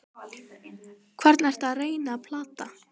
Hvern ertu að reyna að plata?